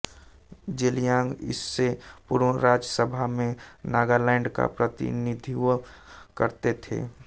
जेलियांग इससे पूर्व राज्य सभा में नागालैंड का प्रतिनिधित्व करते थे